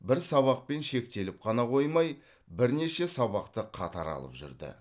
бір сабақпен шектеліп қана қоймай бірнеше сабақты қатар алып жүрді